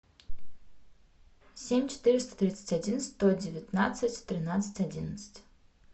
семь четыреста тридцать один сто девятнадцать тринадцать одиннадцать